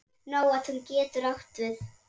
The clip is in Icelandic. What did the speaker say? Nóatún getur átt við